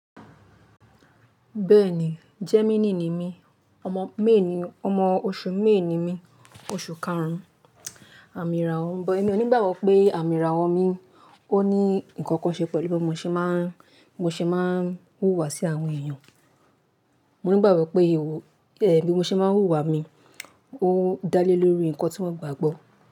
Bẹ́ẹ̀ni, Gemini ni mí, ọmọ May, ọmọ oṣù May mi, oṣù karun, àmì ìràwọ̀, bó ẹ ní gbàgbọ́ pé àmì ìràwọ̀ mi ó ní ǹkan kan ṣe pẹ̀lú bí mo ṣe máa ń, mo ṣe máa ń hùwà sí àwọn èèyàn. Mo ní gbàgbọ́ pé, ẹ̀ bi mo ṣe máa ń hùwà mi, ó dálé lórí ǹkan tí wọ́n gbàgbọ́